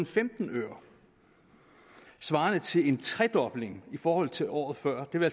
femten øre svarende til en tredobling i forhold til året før det vil